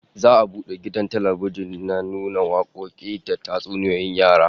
Za'a bude gidan talbijin na nuna wakoki da tatsuniyoyin yara